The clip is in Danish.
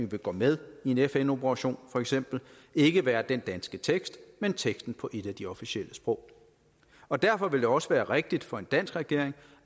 vi går med i en fn operation ikke være den danske tekst men teksten på et af de officielle sprog og derfor vil det også være rigtigt for en dansk regering